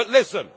But listen.